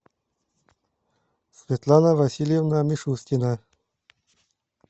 светлана васильевна мишускина